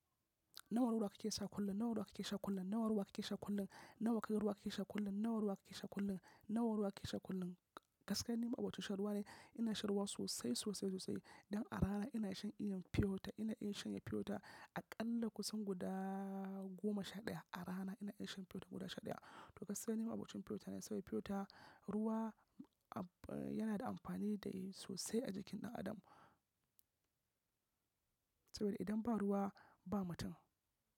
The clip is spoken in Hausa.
Nawar ruwa ke sha kullum, nawar ruwa ke sha kullum, nawar ruwa ke sha kullum, nawar ruwa ke sha kullum, nawar ruwa ke sha kullum, nawar ruwa ke sha kullum. Gaskiya nima abokin shan ruwa ne. Ina shan ruwa sosai, sosai, sosai. Idan a rana ina iya shan feota, ina iya shanye feota aƙalla kusan guda goma sha ɗaya. A rana ina iya shan feota guda sha ɗaya. To gaskiya ni maabocin feota ne saboda feota, ruwa yana da amfani da sosai a jikin ɗan adam. Saboda idan ba ruwa ba mutum.